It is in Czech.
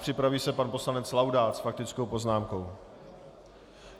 Připraví se pan poslanec Laudát s faktickou poznámkou.